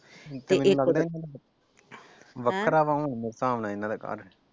ਤੇ ਵੱਖਰਾ ਹੁਣ ਮੇਰੇ ਹਿਸਾਬ ਨਾਲ ਇਹਨਾਂ ਦਾ ਘਰ ।